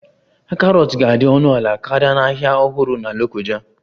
Carrots ga-adị ọnụ ala karịa na Ahịa Ọhụrụ na Lokoja